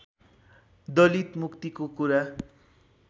दलित मुक्तिको कुरा